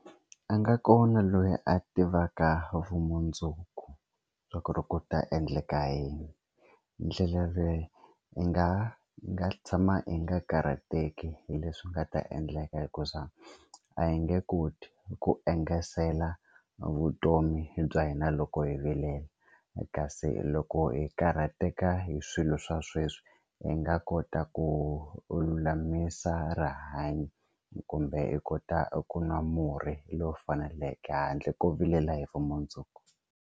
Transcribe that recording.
A nga kona loyi a tivaka vumundzuku bya ku ri ku ta endleka yini ndlela leyi i nga i nga tshama i nga karhateki hi leswi nga ta endleka hikuza a hi nge koti ku engetela vutomi bya hina loko hi vilela kasi loko hi karhateka hi swilo swa sweswi hi nga kota ku lulamisa rihanyo kumbe i kota ku nwa murhi lowu faneleke handle ko vilela hi vumundzuku.